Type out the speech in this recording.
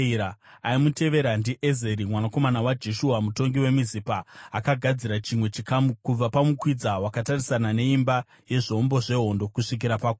Aimutevera ndiEzeri mwanakomana waJeshua, mutongi weMizipa, akagadzira chimwe chikamu kubva pamukwidza wakatarisana neimba yezvombo zvehondo kusvikira pakona.